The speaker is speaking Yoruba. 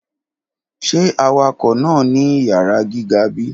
Ṣe awakọ naa ni iyara giga bi?